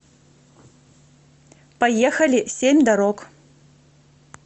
поехали семь дорог